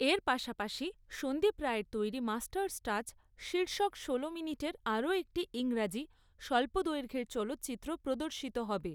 এর পাশাপাশি সন্দীপ রায়ের তৈরি মাস্টার্স টাচ শীর্ষক ষোলো মিনিটের আরও একটি ইংরাজি স্বল্প দৈঘ্যের চলচ্চিত্র প্রদর্শিত হবে।